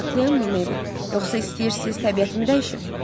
Mən haqlıyammı Meybel, yoxsa istəyirsiz təbiətimi dəyişim?